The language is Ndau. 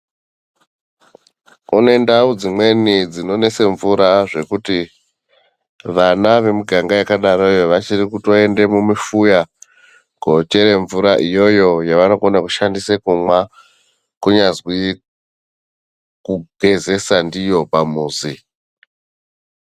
Kune ndau dzimweni dzinonese mvura zvekuti vana vemuganga yakadaroyo vachiri kutoenda mumufuya kochere mvura iyoyo yevanokone kushandisa kumwa, kunyazwi kugezesa ndiyo pamuzi.